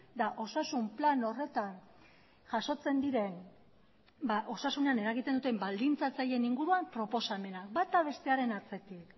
da osasun plan horretan jasotzen diren osasunean eragiten duten baldintzatzaileen inguruan proposamenak bata bestearen atzetik